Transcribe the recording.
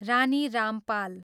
Rani Rampal